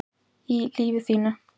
í lífi þínu